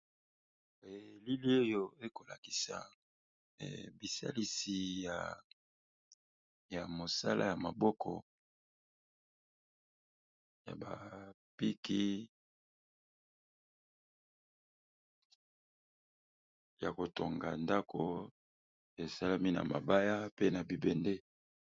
Bilili oyo ekolakisa bisalisi ya mosala ya maboko ya bapiki ya kotonga ndako esalami na mabaya pe na bibende.